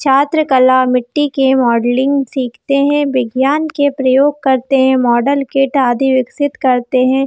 छात्र कला मिटटी के मॉडलिंग सीखते हैं बिज्ञान के प्रयोग करते हैं मॉडल किट आदि विकसित करते हैं।